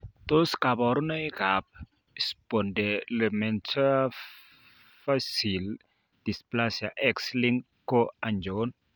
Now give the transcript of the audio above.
Tos kabarunoik ab Spondylometaphyseal dysplasia X linked ko achon?